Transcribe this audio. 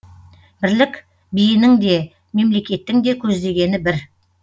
бірлік биінің де мемлекеттің де көздегені бір